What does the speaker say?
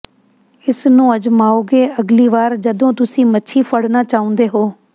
ਇਸ ਨੂੰ ਅਜ਼ਮਾਓਗੇ ਅਗਲੀ ਵਾਰ ਜਦੋਂ ਤੁਸੀਂ ਮੱਛੀ ਫੜਨਾ ਚਾਹੁੰਦੇ ਹੋ